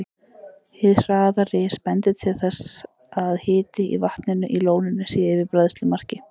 Hið hraða ris bendir til þess, að hiti í vatninu í lóninu sé yfir bræðslumarki.